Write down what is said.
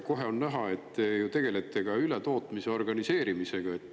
Kohe on näha, et te tegelete ju ka ületootmise organiseerimisega.